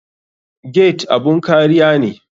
Gate abun kariya ne.